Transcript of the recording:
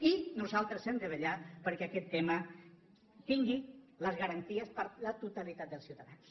i nosaltres hem de vetllar perquè aquest tema tingui les garanties per a la totalitat dels ciutadans